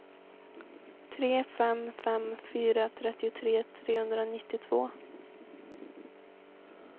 tre fem fem fyra trettiotre trehundranittiotvå